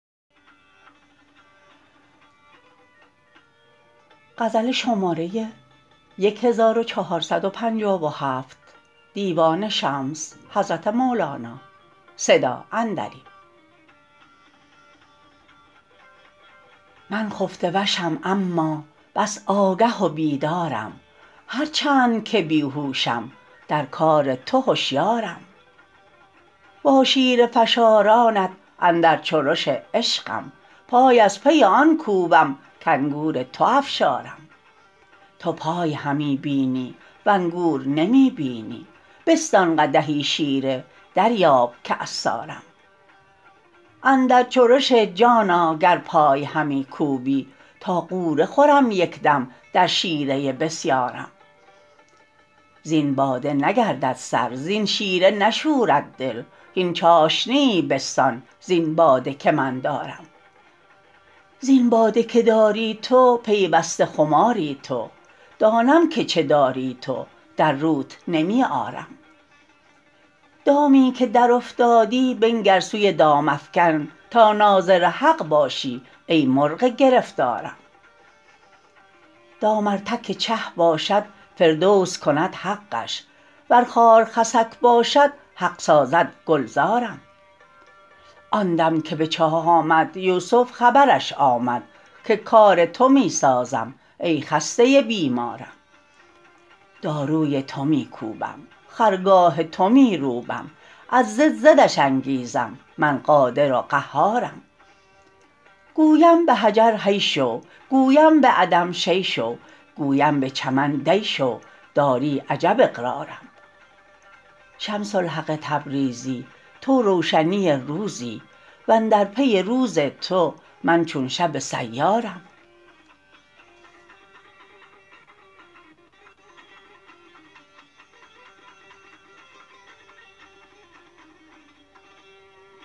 من خفته وشم اما بس آگه و بیدارم هر چند که بی هوشم در کار تو هشیارم با شیره فشارانت اندر چرش عشقم پای از پی آن کوبم کانگور تو افشارم تو پای همی بینی و انگور نمی بینی بستان قدحی شیره دریاب که عصارم اندر چرش جان آ گر پای همی کوبی تا غوطه خورم یک دم در شیره بسیارم زین باده نگردد سر زین شیره نشورد دل هین چاشنیی بستان زین باده که من دارم زین باده که داری تو پیوسته خماری تو دانم که چه داری تو در روت نمی آرم دامی که درافتادی بنگر سوی دام افکن تا ناظر حق باشی ای مرغ گرفتارم دام ار تک چه باشد فردوس کند حقش ور خار خسک باشد حق سازد گلزارم آن دم که به چاه آمد یوسف خبرش آمد که کار تو می سازد ای خسته بیمارم داروی تو می کوبم خرگاه تو می روبم از ضد ضدش انگیزم من قادر و قهارم گویم به حجر حی شو گویم به عدم شیء شو گویم به چمن دی شو داری عجب اقرارم شمس الحق تبریزی تو روشنی روزی و اندر پی روز تو من چون شب سیارم